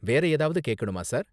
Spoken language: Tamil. வேற ஏதாவது கேக்கணுமா, சார்?